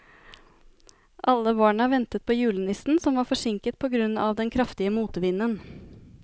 Alle barna ventet på julenissen, som var forsinket på grunn av den kraftige motvinden.